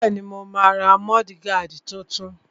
Bẹ́ẹ̀ni, mo máa ra múdúgáàdì tuntun